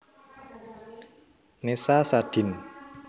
Nessa Sadin